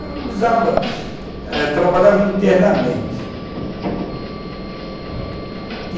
Eu usava, trabalhava internamente.